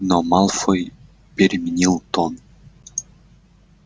но малфой переменил тон